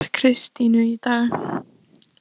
Hvað er að frétta af Kristínu í dag?